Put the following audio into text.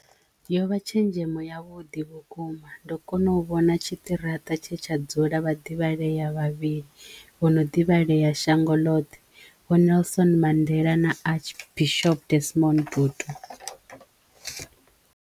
Yo vha tshenzhemo yavhuḓi vhukuma ndo kona u vhona tshiṱiraṱa tshe tsha dzula vhaḓivhaleya vhavhili vho no ḓivhaleya shango ḽoṱhe vho Nelson Mandela na Archbishop Desmond Tutu.